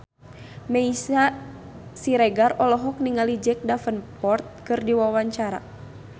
Meisya Siregar olohok ningali Jack Davenport keur diwawancara